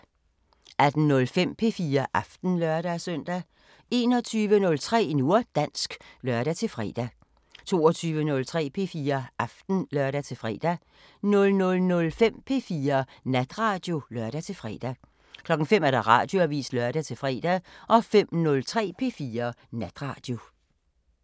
18:05: P4 Aften (lør-søn) 21:03: Nu og dansk (lør-fre) 22:03: P4 Aften (lør-fre) 00:05: P4 Natradio (lør-fre) 05:00: Radioavisen (lør-fre) 05:03: P4 Natradio